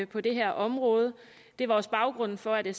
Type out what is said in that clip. på det her område det var også baggrunden for at vi